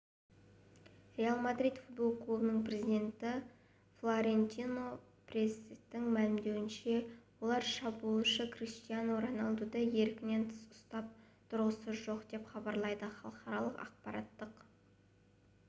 реал мадрид футбол клубының президенті флорентино перестің мәлімдеуінше олар шабуылшы криштиану роналдуды еркінен тыс ұстап тұрғысы жоқ деп хабарлайды халықаралық ақпараттық